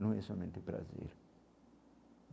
Não é somente prazer.